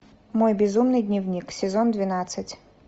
мой безумный дневник сезон двенадцать